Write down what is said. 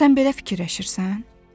Sən belə fikirləşirsən?